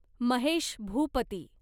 Mahesh Bhupathi